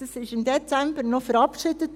Dieses wurde im Dezember noch verabschiedet.